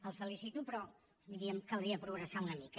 el felicito però diríem que caldria progressar una mica